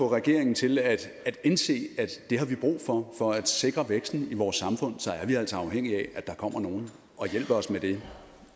regeringen til at indse at det har vi brug for for at sikre væksten i vores samfund er vi altså afhængige af at der kommer nogle og hjælper os med det